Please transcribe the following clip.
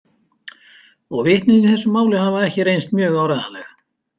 Og vitnin í þessu máli hafa ekki reynst mjög áreiðanleg.